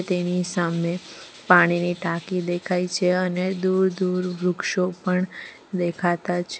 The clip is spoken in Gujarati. તેની સામે પાણીની ટાંકી દેખાય છે અને દૂરદૂર વૃક્ષો પણ દેખાતા છે.